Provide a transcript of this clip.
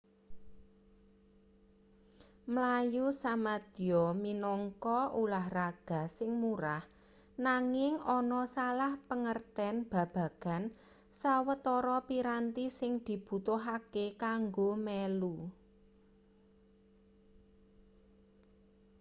mlayu samadya minangka ulahraga sing murah nanging ana salah pangerten babagan sawetara piranti sing dibutuhake kanggo melu